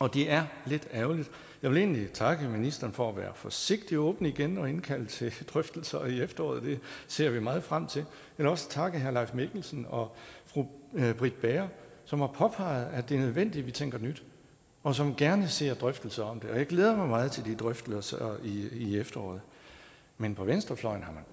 og det er lidt ærgerligt jeg vil egentlig takke ministeren for at være forsigtigt åben igen og indkalde til drøftelser i efteråret det ser vi meget frem til men også takke herre leif mikkelsen og fru britt bager som har påpeget at det er nødvendigt at vi tænker nyt og som gerne ser drøftelser om det og jeg glæder mig meget til de drøftelser i efteråret men på venstrefløjen har